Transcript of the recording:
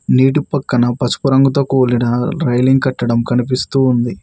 నీటి పక్కన పసుపు రంగుతో కూడిన రైలింగ్ కట్టడం కనిపిస్తూ ఉంది.